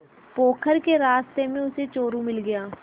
पोखर के रास्ते में उसे चोरु मिल गया